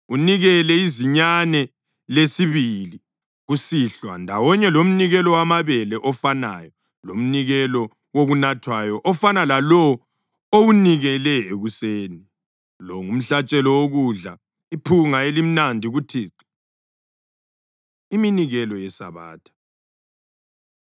Unikele izinyane lesibili kusihlwa ndawonye lomnikelo wamabele ofanayo lomnikelo wokunathwayo ofana lalowo owunikele ekuseni. Lo ngumhlatshelo wokudla, iphunga elimnandi kuThixo.’ ” Iminikelo YeSabatha